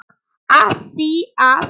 Af því að.